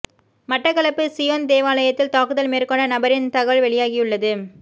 Batticaloa Zion தேவாலயத்தில் தாக்குதல் மேற்கொண்ட நபரின் தகவல் வெளியாகியுள்ளது